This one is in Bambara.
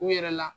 U yɛrɛ la